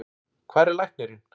Hvar er læknirinn?